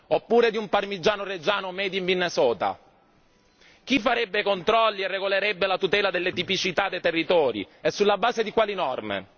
Oppure di un Parmigiano Reggiano Made in Minnesota? Chi farebbe controlli e regolerebbe la tutela delle tipicità dei territori, e sulla base di quali norme?